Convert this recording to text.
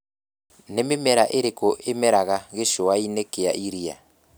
Nĩ mĩmera ĩrĩko ĩmeraga gĩcũa-inĩ kĩa iria?